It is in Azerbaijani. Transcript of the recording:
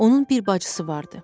Onun bir bacısı vardı.